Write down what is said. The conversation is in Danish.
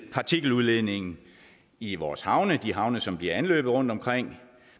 partikeludledningen i vores havne de havne som bliver anløbet rundtomkring